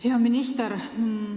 Hea minister!